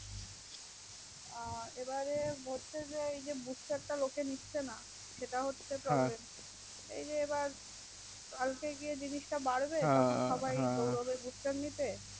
এবারে হচ্ছে যে Bush star লোকে নিচ্ছে না সেটা হচ্ছে problem এই এবার কালকে গিয়ে জিনিস টা বাড়বে তখন সবাই দৌড়াবে bush stsr নিতে